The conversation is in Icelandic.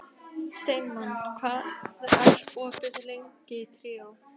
Steinmann, hvað er opið lengi í Tríó?